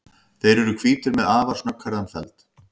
Þeir eru hvítir með afar snögghærðan feld.